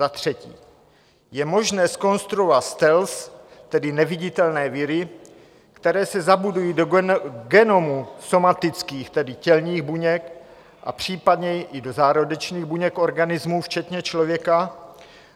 Za třetí je možné zkonstruovat stealth, tedy neviditelné viry, které se zabudují do genomu somatických, tedy tělních buněk a případně i do zárodečných buněk organismů včetně člověka